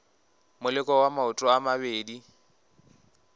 moleko wa maoto a mabedi